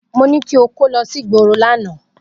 Mo ní kí o kó lọ sígboro lánàá.